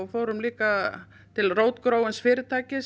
fórum líka til rótgróins fyrirtækis